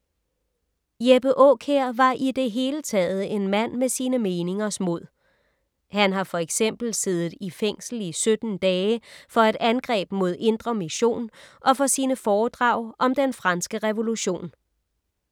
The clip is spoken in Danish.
Jeppe Aakjær var i det hele taget en mand med sine meningers mod. Han har for eksempel siddet i fængsel i 17 dage for et angreb mod Indre Mission og for sine foredrag om Den franske revolution.